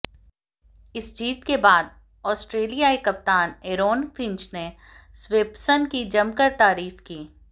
इस जीत के बाद ऑस्ट्रेलियाई कप्तान एरोन फिंच ने स्वेप्सन की जमकर तारीफ की